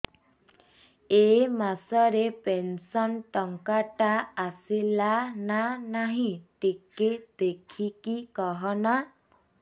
ଏ ମାସ ରେ ପେନସନ ଟଙ୍କା ଟା ଆସଲା ନା ନାଇଁ ଟିକେ ଦେଖିକି କହନା